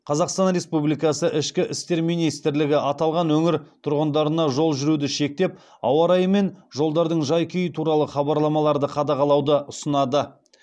қазақстан республикасы ішкі істер министрлігі аталған өңір тұрғындарына жол жүруді шектеп ауа райы мен жолдардың жай күйі туралы хабарламаларды қадағалауды ұсынады